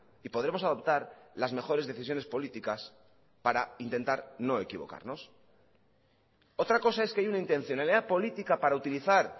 y podremos adoptar las mejores decisiones políticas para intentar no equivocarnos otra cosa es que hay una intencionalidad política para utilizar